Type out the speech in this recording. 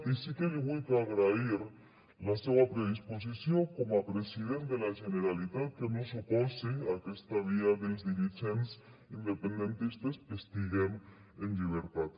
i sí que li vullc agrair la seua predisposició com a president de la generalitat que no s’opose a aquesta via dels dirigents independentistes que estiguem en llibertat